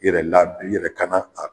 I yɛrɛ i yɛrɛ kana a